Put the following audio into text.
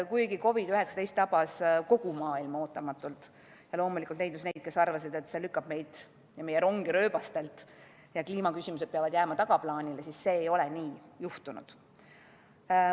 Kuigi COVID-19 tabas kogu maailma ootamatult ja loomulikult leidus neid, kes arvasid, et see lükkab meid ja meie rongi rööbastelt ning kliimaküsimused peavad jääma tagaplaanile, siis nii ei ole juhtunud.